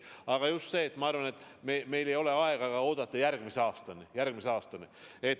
Aga jah, ma arvan, et meil ei ole aega oodata järgmise aastani.